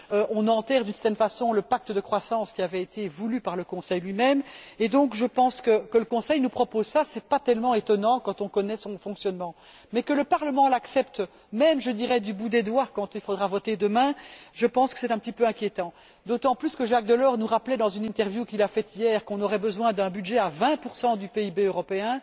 On enterre d'une certaine façon le pacte de croissance, qui avait été voulu par le Conseil lui même, et donc je pense que, si le Conseil nous propose cela, ce n'est pas si étonnant quand on connaît son fonctionnement mais que le Parlement l'accepte, même je dirais du bout des doigts, quand il faudra voter demain, c'est selon moi un petit peu inquiétant, d'autant plus que Jacques Delors nous rappelait dans un entretien, accordé hier, qu'on aurait besoin d'un budget de l'ordre de 20 du PIB européen.